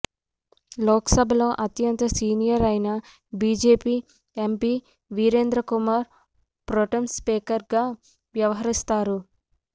లోక్సభలో అత్యంత సీనియర్ అయిన BJP MP Virendra Kumar pro tem స్పీకర్గా వ్యవహరిస్తారు